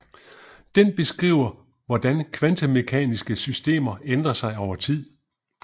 Den beskriver hvordan kvantemekaniske systemer ændrer sig over tid